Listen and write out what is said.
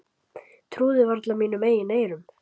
Trúði varla mínum eigin eyrum.